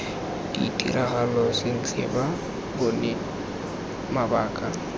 ditiragalo sentle ba bone mabaka